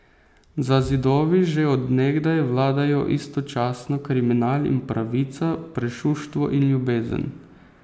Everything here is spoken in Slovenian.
Za zidovi že od nekdaj vladajo istočasno kriminal in pravica, prešuštvo in ljubezen.